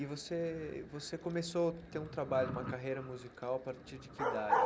E você e você começou a ter um trabalho, uma carreira musical a partir de que idade?